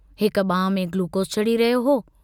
हिक बांह में गुलूकोस चढ़ी रहियो हो।